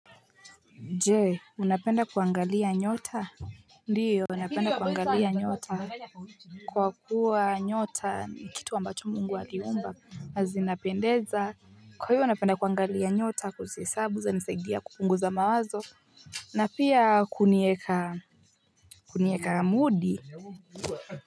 Je unapenda kuangalia nyota? Ndiyo napenda kuangalia nyota kwa kuwa nyota ni kitu ambacho mungu aliumba na zinapendeza kwa hiyo napenda kuangalia nyota kuzihesabu zanisaidia kupunguza mawazo na pia kunieka kunieka mudi.